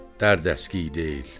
Dərd əskiyi deyil.